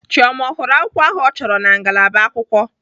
Chioma ọ hụrụ akwukwo ahụ ọ chọrọ na ngalaba akwụkwọ?